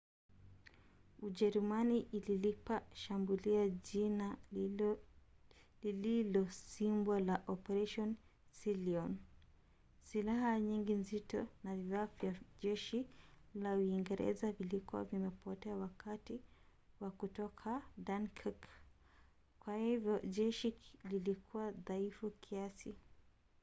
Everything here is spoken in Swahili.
ujerumani ililipa shambulio jina lililosimbwa la operation sealion". silaha nyingi nzito na vifaa vya jeshi la uingereza vilikuwa vimepotea wakati wa kutoka dunkirk kwa hivyo jeshi lilikuwa dhaifu kiasi